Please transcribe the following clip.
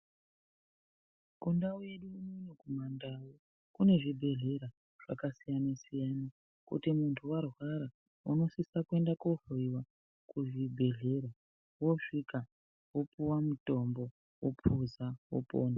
Kundawu yedu unono kumandau kune zvibhedhlera zvakasiyana siyana kuti mundu warwara unosisa kuenda kohloyiwa kuzvibhedhlera wosvika wopuwa mutombo wopuza wopona.